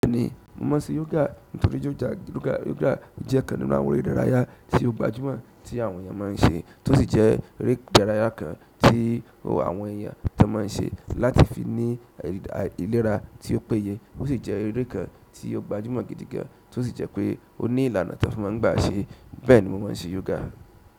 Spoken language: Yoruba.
Bẹ́ẹ̀ni, mo mọ se yoga nítorí yoga jẹ́ ọ̀kan nínú àwọn eré ìdárayá tí ó gbajúmọ̀ tí àwọn èèyàn máa ń se, tó sì jẹ́ eré ìdárayá kan tí àwọn èèyàn ti má ń se láti fi ní ìlera tí ó péye. Ó sì jẹ́ èrè kan tí ó gbajúmọ̀ gidi gan, tó sì jẹ́ pé ó ní ìlànà tí wọ́n fi má ń gbà ṣé. Bẹ́ẹ̀ni mo máa ń ṣe yoga.